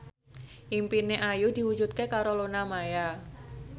impine Ayu diwujudke karo Luna Maya